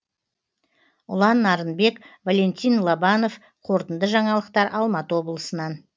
ұлан нарынбек валентин лобанов қорытынды жаңалықтар алматы облысынан